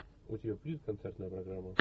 у тебя будет концертная программа